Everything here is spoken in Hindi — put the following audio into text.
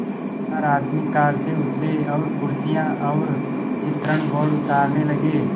चार आदमी कार से उतरे और कुर्सियाँ और चित्रण बोर्ड उतारने लगे